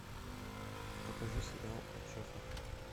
покажи сериал от шефа